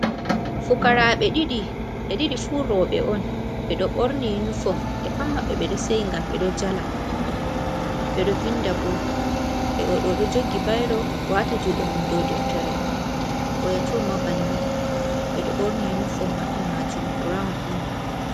Fukara ɓe ɗiɗi" ɓe ɗiɗi furoɓe on. Ɓe ɗo ɓorni yinifom, ɓe pat maɓɓe ɓe ɗo seyi ngam ɓe ɗo jala, ɓeɗo vinda bo .Oɗo jogi bayro wati juɗe mum do deftere, oya to ma banni. Ɓe ɗo ɓorni yinifom maɓɓe majum burawn on.